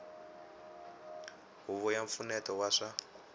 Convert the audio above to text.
huvo ya mpfuneto wa swa